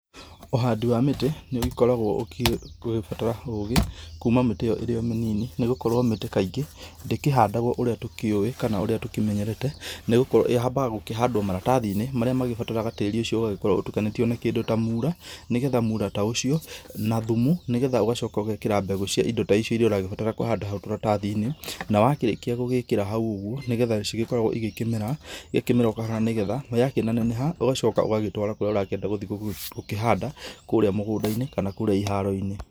Ũhandi wa mĩtĩ nĩũgĩkoragwo ũkĩbatara ũgĩ kũma mĩtĩ ĩyo ĩri omĩnini nĩgũkorwo mĩtĩ kaingĩ ndĩkĩhandagwo ũrĩa tũkĩũĩ kana ũrĩa tũkĩmenyerete nĩgũkorwo yambaga gũkĩhandwa maratathini marĩa mabatarana tĩri ũcio ũkoragwo ũtukanĩtio na kĩndũ ta muura nĩgetha mũra ta ũcio na thumu nĩgetha ũgacoka ũgekĩra mbegũ cia indo ta icio ũrabatara kũhanda hau karatathinĩ na wakĩrĩkia gwĩkĩra hau ũguo nĩgetha cigĩkoragwo cikĩmera nĩgetha oyakĩneneha ũgagĩcoka ũgatwara kũrĩa ũrakĩenda kũrĩa mũgũndainĩ kana iharoinĩ.